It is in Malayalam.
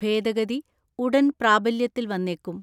ഭേദഗതി ഉടൻ പ്രാബല്യത്തിൽ വന്നേക്കും.